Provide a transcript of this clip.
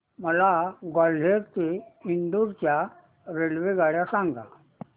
मला ग्वाल्हेर ते इंदूर च्या रेल्वेगाड्या सांगा